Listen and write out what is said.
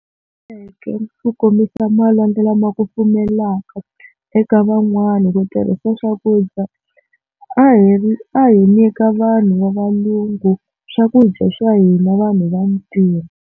ku kombisa malwandla lama kufumelaka eka van'wana ku tirhisa swakudya a hi a hi nyika vanhu va valungu swakudya swa hina vanhu vantima.